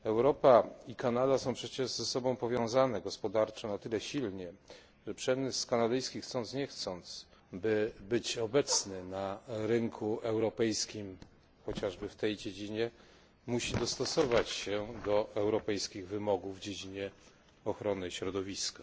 2 Europa i Kanada są przecież ze sobą powiązane gospodarczo na tyle silnie, by przemysł kanadyjski, chcąc nie chcąc, by być obecny na rynku europejskim, chociażby w tej dziedzinie, musi dostosować się do europejskich wymogów w dziedzinie ochrony środowiska.